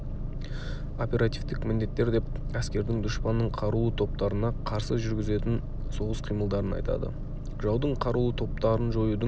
оперативтік міндеттер деп әскердің дұшпанның қарулы топтарына қарсы жүргізетін соғыс қимылдарын айтады жаудың қарулы топтарын жоюдың